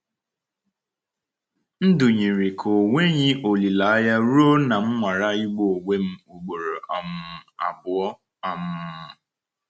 Ndụ yiri ka ọ nweghị olileanya ruo na m nwara igbu onwe m ugboro um abụọ um.